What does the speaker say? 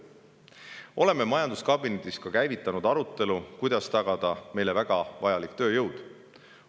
Oleme majanduskabinetis käivitanud ka arutelu, kuidas tagada meile väga vajalik tööjõud.